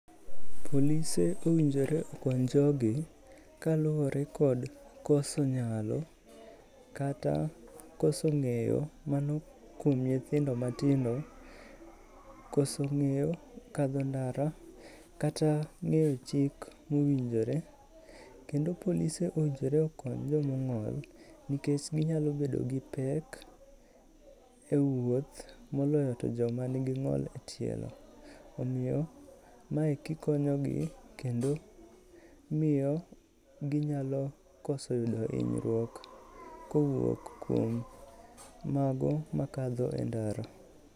Polise owinjore okony jogi kaluwore kod koso nyalo, kata koso ng'eyo, mano kuom nyithindo matindo, koso ng'eyo kadho ndara kata ng'eyo chik mowinjore. Kendo polise owinjore okony joma ong'ol nikech ginyalo bedo gi pek e wuoth, moloyo to joma nigi ng'ol e tielo. Omiyo mae kikonyo gi, kendo miyo ginyalo koso yudo hinyruok kowuok kuom mago makadho e ndara.